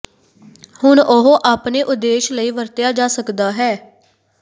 ਹੁਣ ਉਹ ਆਪਣੇ ਉਦੇਸ਼ ਲਈ ਵਰਤਿਆ ਜਾ ਸਕਦਾ ਹੈ